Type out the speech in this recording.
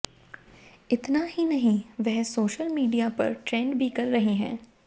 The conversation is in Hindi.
इतना ही नहीं वह सोशल मीडिया पर ट्रेंड भी कर रही है